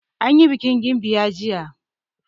Anyi bikin gimbiya jiya.